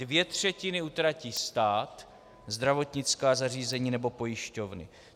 Dvě třetiny utratí stát, zdravotnická zařízení nebo pojišťovny.